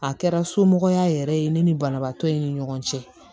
A kɛra somɔgɔya yɛrɛ ye ne ni banabaatɔ in ni ɲɔgɔn cɛ